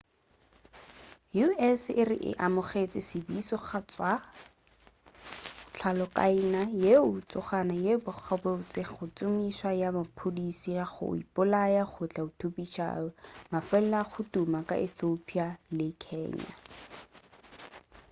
u.s. e re e amogetše tsebišo go tšwa go hlokaina yeo e tlogago e bolela gabotse ka tšomišo ya bathuthupiši ba go ipolaya go tla thuthupiša mafelo a go tuma ka ethiopia le kenya